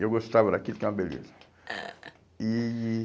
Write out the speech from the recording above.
E eu gostava daquilo, que é uma beleza. E e